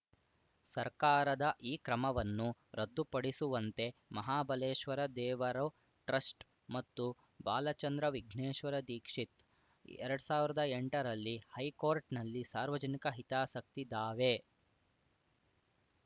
ಸರ್ಕಾರದ ಈ ಕ್ರಮವನ್ನು ರದ್ದುಪಡಿಸುವಂತೆ ಮಹಾಬಲೇಶ್ವರ ದೇವರು ಟ್ರಸ್ಟ್‌ ಮತ್ತು ಬಾಲಚಂದ್ರ ವಿಘ್ನೇಶ್ವರ ದೀಕ್ಷಿತ್ ಎರಡ್ ಸಾವಿರ್ದಾ ಎಂಟರಲ್ಲಿ ಹೈಕೋರ್ಟ್‌ನಲ್ಲಿ ಸಾರ್ವಜನಿಕ ಹಿತಾಸಕ್ತಿ ದಾವೆ